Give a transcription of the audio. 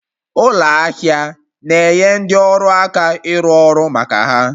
Ụlọ ahịa na-enye ndị ọrụ aka ịrụ ọrụ maka ha